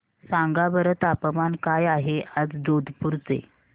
सांगा बरं तापमान काय आहे आज जोधपुर चे